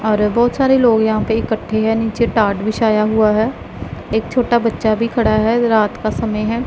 और बहुत सारे लोग यहां पे इकट्ठे है नीचे टाट बिछायां हुआ है एक छोटा बच्चा भी खड़ा है रात का समय हैं।